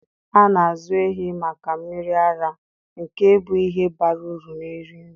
A na-azụ ehi maka mmiri ara, nke bụ ihe bara uru na-eri nri.